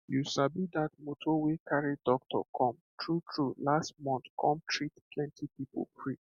you sabi that motor wey carry doctor come true true last month come treat plenty people free